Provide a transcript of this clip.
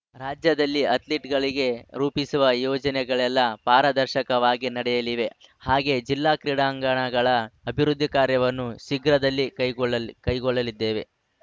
ರಾಜ್ಯದಲ್ಲಿ ಅಥ್ಲೀಟ್‌ಗಳಿಗೆ ರೂಪಿಸುವ ಯೋಜನೆಗಳೆಲ್ಲ ಪಾರದರ್ಶಕವಾಗಿ ನಡೆಯಲಿವೆ ಹಾಗೆ ಜಿಲ್ಲಾ ಕ್ರೀಡಾಂಗಣಗಳ ಅಭಿವೃದ್ಧಿ ಕಾರ್ಯವನ್ನು ಶೀಘ್ರದಲ್ಲಿ ಕೈಗೊಳ್ಳಲಿ ಕೈಗೊಳ್ಳಲಿದ್ದೇವೆ